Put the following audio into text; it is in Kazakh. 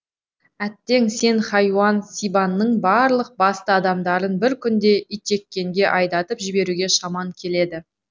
әттең сен хайуан сибанның барлық басты адамдарын бір күнде итжеккенге айдатып жіберуге шаман келеді